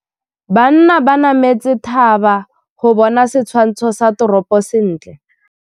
Banna ba nametse thaba go bona setshwantsho sa toropô sentle.